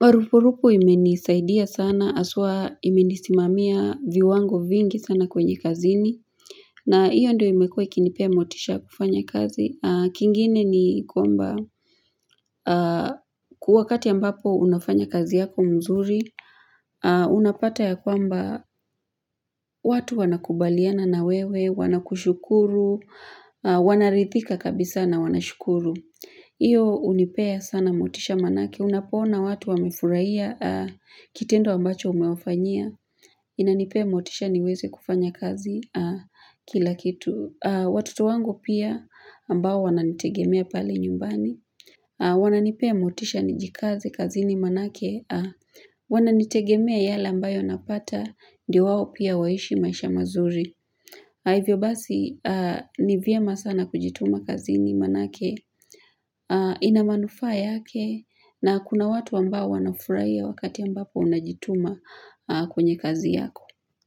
Marupurupu imenisaidia sana haswa imenisimamia viwango vingi sana kwenye kazini na hiyo ndio imekuwa ikinipea motisha kufanya kazi kingine ni kwamba wakati ambapo unafanya kazi yako mzuri Unapata ya kwamba watu wanakubaliana na wewe, wanakushukuru, wanarithika kabisa na wanashukuru Iyo hunipea sana motisha maanake, unapoona watu wamefurahia kitendo ambacho umewafanyia inanipea motisha niweze kufanya kazi kila kitu Watoto wangu pia ambao wananitegemea pale nyumbani Wananipea motisha nijikaze kazini maanake wananitegemea yale ambayo napata ndio wao pia waishi maisha mazuri ivyo basi ni vyema sana kujituma kazini maanake ina manufaa yake na kuna watu ambao wanafurahi wakati ambapo unajituma kwenye kazi yako.